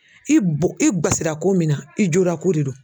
I bo i guwasi la ko min na i jorako de don.